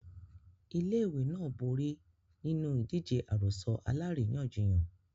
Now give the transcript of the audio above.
Ilé-ìwé náà borí nínú ìdíje àròsọ alárìíyànjiyàn.